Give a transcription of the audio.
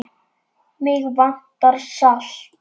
Mig vantar salt.